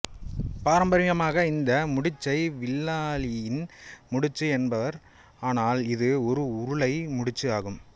பாரம்பரியமாக இந்த முடிச்சை வில்லாளியின் முடிச்சு என்பர் ஆனால் இது ஒரு உருளை முடிச்சு ஆகும்